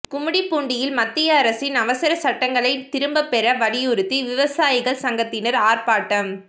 கும்மிடிப்பூண்டியில் மத்திய அரசின் அவசர சட்டங்களைத் திரும்பப்பெற வலியுறுத்தி விவசாயிகள் சங்கத்தினர் ஆர்பாட்டம்